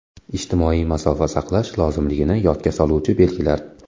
Ijtimoiy masofa saqlash lozimligini yodga soluvchi belgilar.